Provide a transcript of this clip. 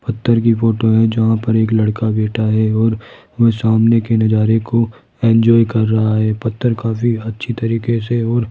पत्थर की फोटो है जहां पर एक लड़का बैठा है और वह सामने के नजारे को एंजॉय कर रहा है पत्थर काफी अच्छी तरीके से और --